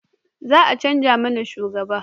Za a canja mana shugaba